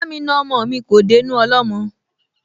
Ba'mi na ọmọ mi kò dénú ọlọ́mọ